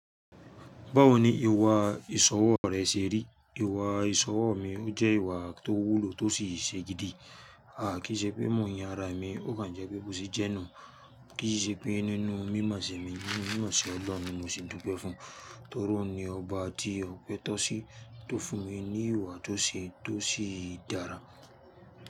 Báwo ni ìwà ìsọ̀wọ̀ rẹ ṣe rí? Ìwà ìsọ̀wọ̀ mi, ó jẹ́ ìwà tó wúlò tó sì ṣe gidi. À kí í ṣe pé mò yín ara mi, ó kàn jẹ́ pé bó ṣe jẹ́nu. Kí í ṣe pé nínú mímọse mi, ní mọse Ọlọ́run ni mo sì dúnpẹ́ fún. Torí òun ni ọba tí ọ̀pẹ tó sí tó fún mi ní ìwà tó ṣe é, tó sì dára.